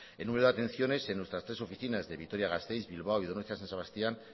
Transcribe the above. en número de atenciones en nuestras tres oficinas de vitoria gasteiz bilbao y donostia san sebastián